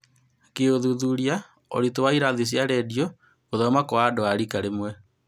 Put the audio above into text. Gũĩthuthuria ũritũ wa irathi cia rendio, gũthoma kwa andũ a rika rĩmwe